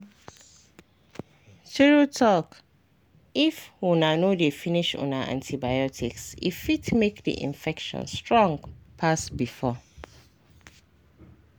true talkif una no dey finish una antibiotics e fit make the infection strong pass before.